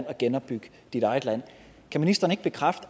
og genopbygge dit eget land kan ministeren ikke bekræfte